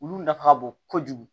Olu nafa ka bon kojugu